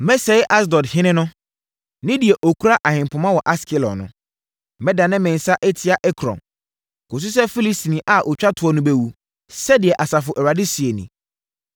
Mɛsɛe Asdod ɔhene no ne deɛ ɔkura ahempoma wɔ Askelon no. Mɛdane me nsa atia Ekron, kɔsi sɛ Filistini a ɔtwa toɔ no bɛwu,” sɛdeɛ Asafo Awurade seɛ nie.